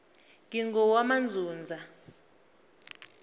ngingowamanzunza